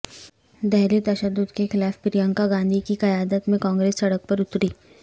دہلی تشدد کے خلاف پرینکا گاندھی کی قیادت میں کانگریس سڑک پر اتری